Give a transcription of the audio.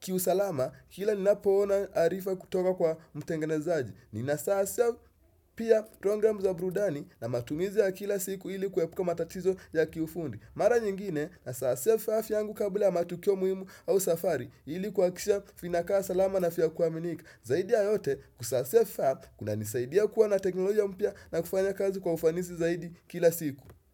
kiusalama kila ninapoona arifa kutoka kwa mtengene zaaji. Ni nasasisha pia program za burudani na matumizi ya kila siku ilikuwepuka matatizo ya kiufundi. Mara nyingine na sasisha vifaa vyangu kabla matukio muimu au safari ilikuhakikisha vinakaa salama na vya kuaminika Zaidi ya yote kusasisa vifaa kuna nisaidia kuwa na teknoloja mpya na kufanya kazi kwa ufanisi zaidi kila siku.